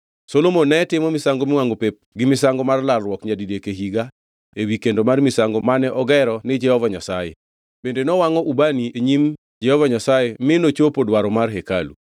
Solomon ne timo misango miwangʼo pep gi misango mar lalruok nyadidek e higa ewi kendo mar misango mane ogero ni Jehova Nyasaye bende nowangʼo ubani e nyim Jehova Nyasaye mi nochopo dwaro mar hekalu.